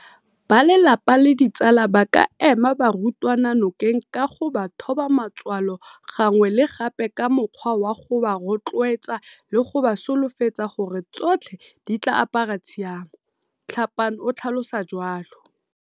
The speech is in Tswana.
Balelapa le ditsala ba ka ema barutwana nokeng ka go ba thoba matswalo gangwe le gape ka mokgwa wa go ba rotloetsa le go ba solofetsa gore tsotlhe di tla apara tshiamo, Tlhapane o tlhalosa jalo.